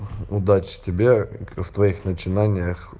удачи тебе в твоих начинаниях